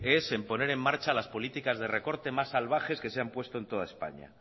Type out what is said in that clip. es en poner en marcha las políticas de recorte más salvajes que se han puesto en toda españa